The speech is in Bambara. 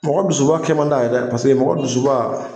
Mɔgɔ dusuba kɛ man di a ye dɛ, paseke mɔgɔ dusuba